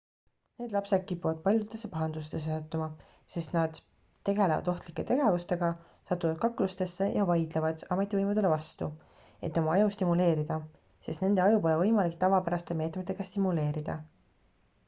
need lapsed kipuvad paljudesse pahandustesse sattuma sest nad tegelevad ohtlike tegevustega satuvad kaklustesse ja vaidlevad ametivõimudele vastu et oma aju stimuleerida sest nende aju pole võimalik tavapäraste meetmetega stimuleerida